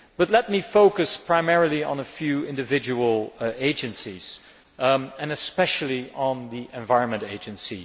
Let me focus primarily on a few individual agencies and especially on the Environment Agency.